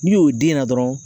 N'i y'o den na dɔrɔn